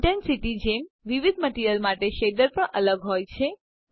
ઇન્ટેન્સીટીની જેમ વિવિધ મટીરીઅલ માટે શેડર પણ અલગ હોય છે